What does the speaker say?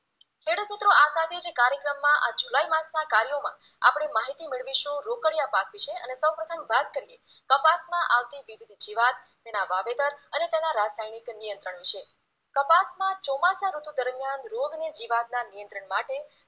કાલોમાં આપડે માહિતી મેળવીશું રોકડિયા પાક વિશે અને સૌપ્રથમ વાત કરીએ કપાસમાં આવતી વિવિધ જીવાત તેના વાવેતર અને તેના રાસાયણિક નિયંત્રણ વિશે કપાસમાં ચોમાસા ઋતુ દરમિયાન રોગની જીવાતના નિયંત્રણ માટે